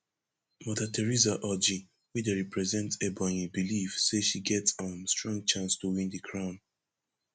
mother theresa orji wey dey represent ebonyi believe say she get um strong chance to win di crown